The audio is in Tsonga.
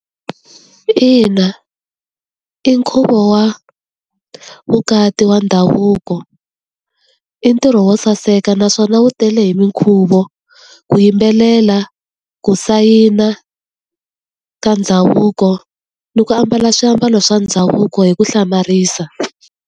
Ina. I nkhuvo wa vukati wa ndhavuko. I ntirho wo saseka naswona wu tele hi minkhuvo, ku yimbelela, ku sayina ka ndhavuko ni ku ambala swiambalo swa ndhavuko hi ku hlamarisa.